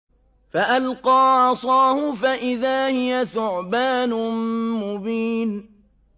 فَأَلْقَىٰ عَصَاهُ فَإِذَا هِيَ ثُعْبَانٌ مُّبِينٌ